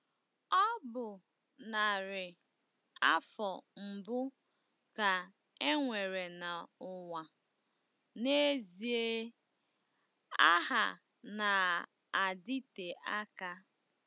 Ọ bụ narị afọ mbụ ka e nwere n'ụwa n'ezie - agha na-adịte aka.